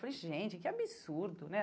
Falei, gente, que absurdo, né?